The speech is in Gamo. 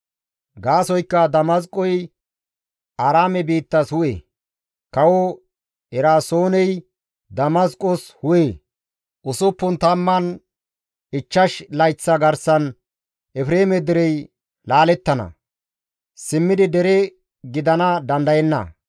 Gaasoykka Damasqoy Aaraame biittas hu7e; kawo Eraasooney Damasqos hu7e. Usuppun tamman ichchash layththa garsan Efreeme derey laalettana; simmidi dere gidana dandayenna.